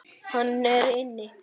Hann er inni.